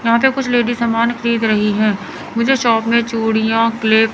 यहाँ पे कुछ लेडीज सामान खरीद रही है मुझे शॉप में चूड़ियां क्लिप--